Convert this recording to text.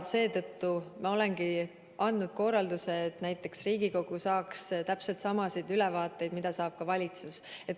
Seetõttu ma olengi andnud korralduse, et Riigikogu saaks täpselt samasid ülevaateid, mida saab valitsus.